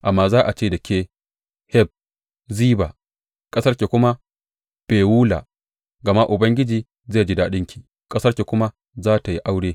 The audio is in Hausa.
Amma za a ce da ke Hefziba ƙasarki kuma Bewula; gama Ubangiji zai ji daɗinki, ƙasarki kuma za tă yi aure.